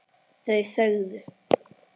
Þau þögðu.